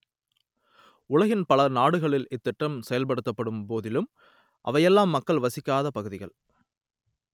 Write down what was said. உலகின் பல நாடுகளில் இத்திட்டம் செயல்படுத்தப்படும் போதிலும் அவையெல்லாம் மக்கள் வசிக்காத பகுதிகள்